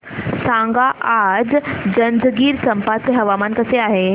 सांगा आज जंजगिरचंपा चे हवामान कसे आहे